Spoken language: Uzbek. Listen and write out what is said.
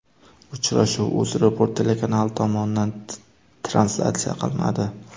Uchrashuv UzReport telekanali tomonidan translyatsiya qilinadi.